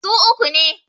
su uku ne